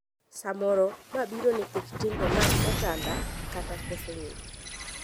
Samoro, ma biro nikech kit timbe mag oganda kata koso ng'eyo.